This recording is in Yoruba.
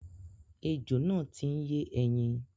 Ejò náà ti ń yé ẹyin.